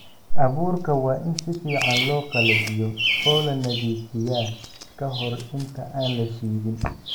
Abuurka waa in si fiican loo qalajiyo oo la nadiifiyaa ka hor inta aan la shidin.